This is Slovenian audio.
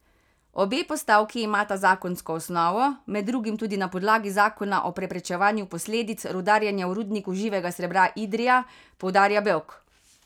Obe postavki imata zakonsko osnovo, med drugim tudi na podlagi zakona o preprečevanju posledic rudarjenja v Rudniku živega srebra Idrija, poudarja Bevk.